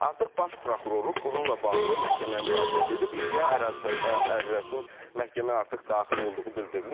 Artıq baş prokurorluq bununla bağlı məhkəməyə müraciət edib, iddia ərizəsinin məhkəməyə artıq daxil olduğu bildirilir.